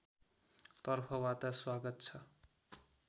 तर्फबाट स्वागत छ